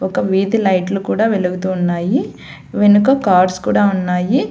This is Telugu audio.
ఇంక వీధిలైట్లు కూడా వెలుగుతూ ఉన్నాయి వెనుక కార్డ్స్ కూడా ఉన్నాయి.